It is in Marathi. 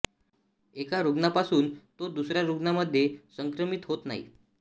एका रुग्णापासून तो दुसऱ्या रुग्णामध्ये संक्रमित होत नाही